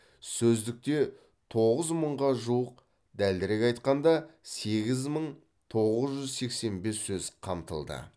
сөздікте тоғыз мыңға жуық дәлірек айтқанда сегіз мың тоғыз жүз сексен бес сөз қамтылды